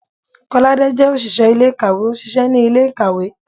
kolade jẹ oṣiṣẹ ilé-ikáwe, o ṣiṣẹ ni ile-ikáwe.